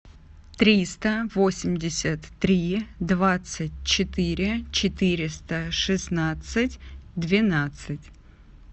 триста восемьдесят три двадцать четыре четыреста шестнадцать двенадцать